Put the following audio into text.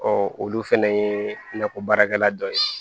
Ɔ olu fana ye nakɔ baarakɛla dɔ ye